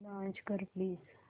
launch कर please